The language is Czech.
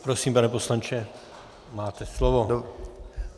Prosím, pane poslanče, máte slovo.